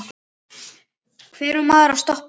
Hvar á maður að stoppa?